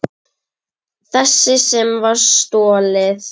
Þessi sem var stolið!